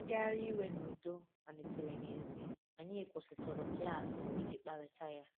Ngagharị iwe n’udo malitere n’èzí, anyị kwụsịtụrụ klaasị iji kparịta ya.